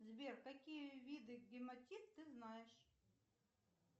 сбер какие виды гематит ты знаешь